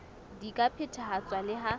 di ka phethahatswa le ha